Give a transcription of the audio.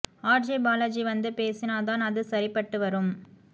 R J Balaji வந்து பேசினா தான் அது சரிபட்டு வரும்